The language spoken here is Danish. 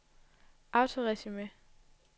autoresume